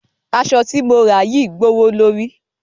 Aṣọ ti mo rà yìí gbówó lóri.